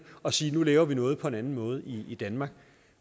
og sige nu laver vi noget på en anden måde i danmark